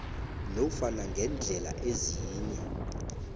nofana ngeendlela ezinye